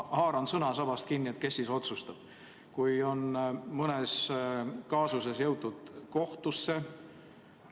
Ma haaran sõnasabast kinni, et kes siis otsustab, kui mõne kaasusega ollakse jõutud kohtusse.